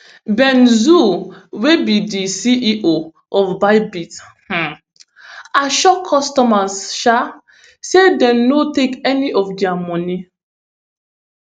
ben zhou wey be di ceo of bybit um assure customers um say dem no take any of dia money